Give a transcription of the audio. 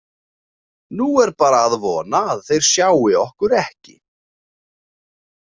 Nú er bara að vona að þeir sjái okkur ekki.